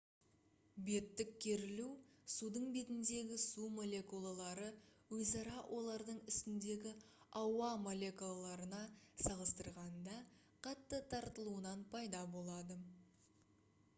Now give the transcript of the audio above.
беттік керілу судың бетіндегі су молекулалары өзара олардың үстіндегі ауа молекулаларына салыстырғанда қатты тартылуынан пайда болады